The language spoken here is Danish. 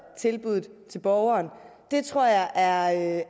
tilbuddet til borgeren det tror jeg er